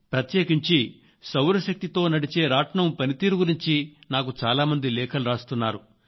ప్రత్యేకించి సౌరశక్తి తో నడిచే రాట్నం పనితీరు గురించి నాకు చాలా మంది లేఖలు రాస్తున్నారు